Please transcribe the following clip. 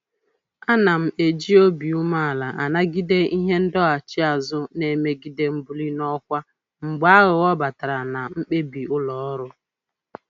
Ana m eji obi umeala anagide ihe ndọghachi azụ na-emegide mbuli n'ọkwa mgbe aghụghọ batara na mkpebi ụlọ ọrụ